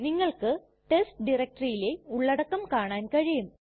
നിങ്ങൾക്ക് ടെസ്റ്റ് ഡയറക്ടറിയിലെ ഉള്ളടക്കം കാണാൻ കഴിയും